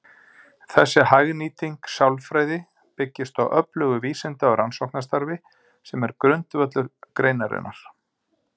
Þessi hagnýting sálfræði byggist á öflugu vísinda- og rannsóknarstarfi sem er grundvöllur greinarinnar.